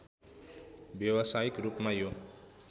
व्यवसायिक रूपमा यो